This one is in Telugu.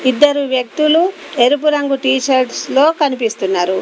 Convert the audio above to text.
ఇద్దరు వ్యక్తులు ఎరుపు రంగు టీషర్ట్స్ లో కనిపిస్తున్నారు.